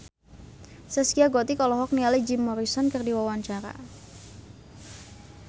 Zaskia Gotik olohok ningali Jim Morrison keur diwawancara